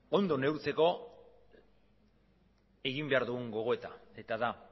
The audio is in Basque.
ondo neurtzeko egin behar dugun gogoeta eta da